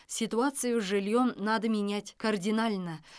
ситуацию с жильем надо менять кардинально